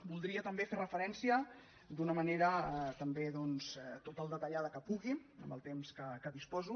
voldria també fer referència d’una manera també doncs tot el detallada que pugui amb el temps de què disposo